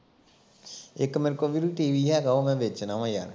ਇੱਕ ਮੇਰੇ ਕੋਲ ਟੀ. ਵੀ ਹੈਗਾ ਉਹ ਮੈਂ ਵੇਚਣਾ ਯਾਰ